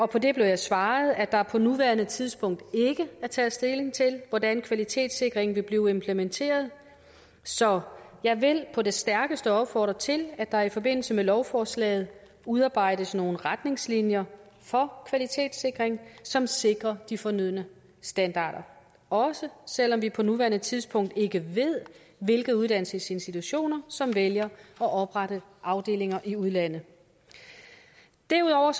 på det blev jeg svaret at der på nuværende tidspunkt ikke er taget stilling til hvordan kvalitetssikringen vil blive implementeret så jeg vil på det stærkeste opfordre til at der i forbindelse med lovforslaget udarbejdes nogle retningslinjer for kvalitetssikring som sikrer de fornødne standarder også selv om vi på nuværende tidspunkt ikke ved hvilke uddannelsesinstitutioner som vælger at oprette afdelinger i udlandet derudover